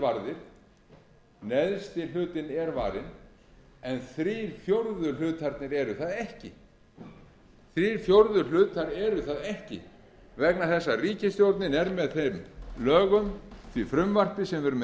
varðir neðsti hlutinn er varinn en þrír fjórðu eru það ekki vegna þess að ríkisstjórnin er með þeim lögum á í frumvarpi sem við erum með